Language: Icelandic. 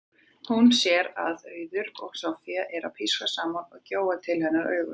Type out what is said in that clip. Hún sér að Auður og Soffía eru að pískra saman og gjóa til hennar augunum.